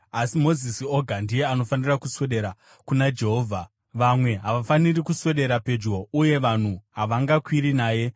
asi Mozisi oga ndiye anofanira kuswedera kuna Jehovha; vamwe havafaniri kuswedera pedyo. Uye vanhu havangakwiri naye.”